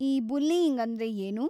ಈ ಬುಲ್ಲೀಯಿಂಗ್ ಅಂದ್ರೆ ಏನು?